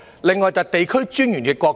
另外，便是地區專員的角色。